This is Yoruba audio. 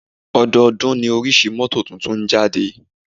Ọdọọ́dún ní oríṣi mọ́tò tuntun ń jáde.